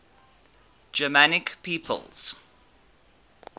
germanic peoples